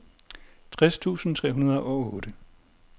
tres tusind tre hundrede og otte